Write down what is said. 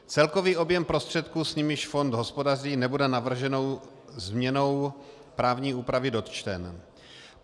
Celkový objem prostředků, s nimiž fond hospodaří, nebude navrženou změnou právní úpravy dotčen.